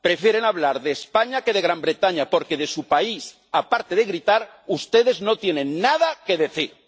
Prefieren hablar de España que de Gran Bretaña porque de su país, aparte de gritar, ustedes no tienen nada que decir.